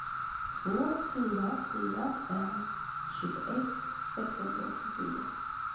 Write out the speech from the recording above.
två fyra fyra fem tjugoett sexhundraåttiofyra